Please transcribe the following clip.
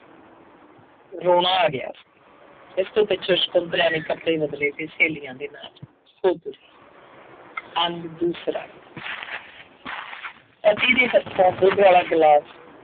ਰੋਣਾ ਆ ਗਿਆ ਸੀ। ਇਸ ਤੋਂ ਪਿੱਛੋ ਸ਼ੰਕੁਤਲਾ ਨੇ ਕੱਪੜੇ ਬਦਲੇ ਸੀ, ਸਹੇਲੀਆਂ ਦੇ ਨਾਲ ਉੱਧਰ, ਅੰਗ ਦੂਸਰਾ ਪਤੀ ਦੇ ਹੱਥੋਂ ਦੁੱਧ ਵਾਲਾ ਗਿਲਾਸ